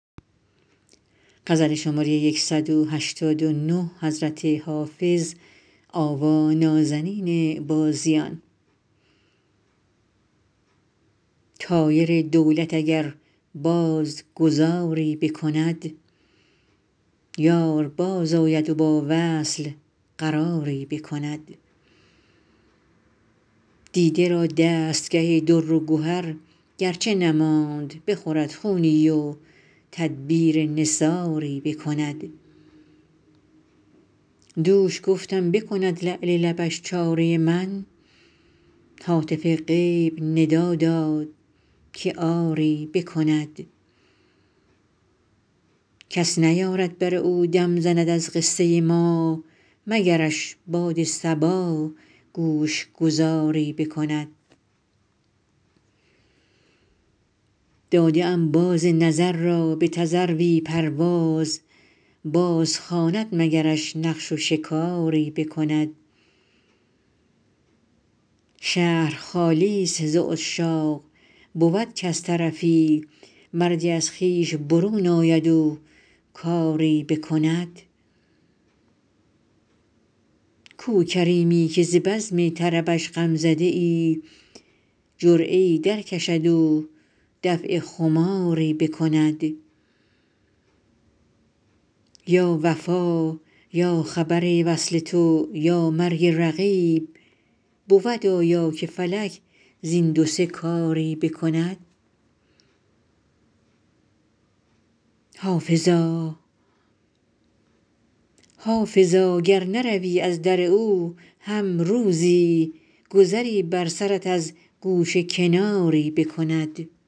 طایر دولت اگر باز گذاری بکند یار بازآید و با وصل قراری بکند دیده را دستگه در و گهر گر چه نماند بخورد خونی و تدبیر نثاری بکند دوش گفتم بکند لعل لبش چاره من هاتف غیب ندا داد که آری بکند کس نیارد بر او دم زند از قصه ما مگرش باد صبا گوش گذاری بکند داده ام باز نظر را به تذروی پرواز بازخواند مگرش نقش و شکاری بکند شهر خالی ست ز عشاق بود کز طرفی مردی از خویش برون آید و کاری بکند کو کریمی که ز بزم طربش غم زده ای جرعه ای درکشد و دفع خماری بکند یا وفا یا خبر وصل تو یا مرگ رقیب بود آیا که فلک زین دو سه کاری بکند حافظا گر نروی از در او هم روزی گذری بر سرت از گوشه کناری بکند